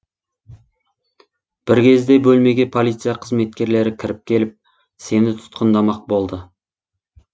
бір кезде бөлмеге полиция қызметкерлері кіріп келіп сені тұтқындамақ болды